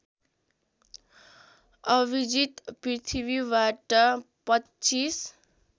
अभिजित पृथ्वीबाट २५